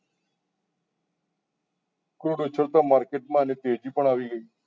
Krud ઉછળતા market માં તેજી પણ આવી ગઈ છે.